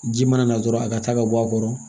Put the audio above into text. Ji mana na dɔrɔn a ka taa ka bɔ a kɔrɔ